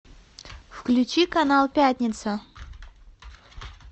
включи канал пятница